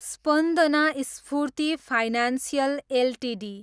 Spandana Sphoorty financial Ltd